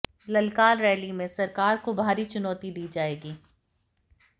ललकार रैली में सरकार को भारी चुनौती दी जाएगी